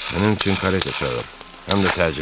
Mənim üçün kareta çağır, həm də təcili.